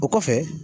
O kɔfɛ